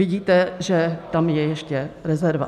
Vidíte, že tam je ještě rezerva.